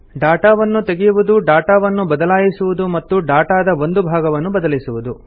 ಡಾಟಾವನ್ನು ತೆಗೆಯುವುದು ಡಾಟಾವನ್ನು ಬದಲಾಯಿಸುವುದು ಮತ್ತು ಡಾಟಾದ ಒಂದು ಭಾಗವನ್ನು ಬದಲಿಸುವುದು